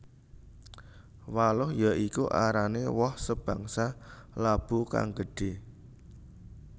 Waluh ya iku arané woh sebangsa labu kang gedhé